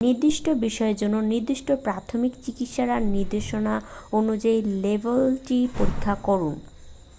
নির্দিষ্ট বিষের জন্য নির্দিষ্ট প্রাথমিক চিকিৎসার নির্দেশনা অনুযায়ী লেবেলটি পরীক্ষা করুন